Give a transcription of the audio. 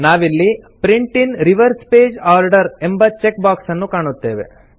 ನಾವಿಲ್ಲಿ print in reverse page order ಎಂಬ check box ಅನ್ನು ಕಾಣುತ್ತೇವೆ